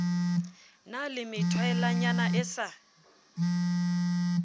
na le methwaelanyana e sa